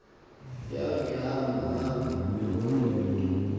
yavihamba hamba ngokomntu